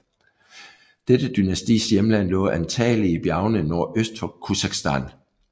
Dette dynastis hjemland lå antagelig i bjergene nordøst for Khuzestan